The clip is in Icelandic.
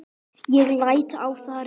Ég læt á það reyna.